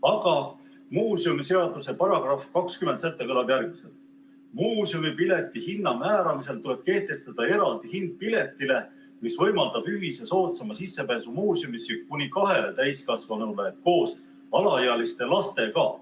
Aga muuseumiseaduse § 20 lõike 3 punkt 2 kõlab järgmiselt: "Muuseumipileti hinna määramisel tuleb kehtestada eraldi hind piletile, mis võimaldab ühise soodsama sissepääsu muuseumisse kuni kahele täiskasvanule koos alaealiste lastega.